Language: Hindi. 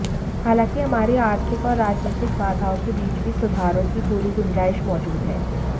हालांकि हमारी आर्थिक और राजनीतिक बाधाओं के बीच भी सुधारों की पूरी गुंजाइश मौजूद है